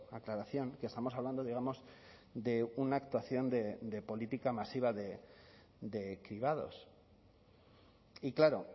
aclaración que estamos hablando digamos de una actuación de política masiva de cribados y claro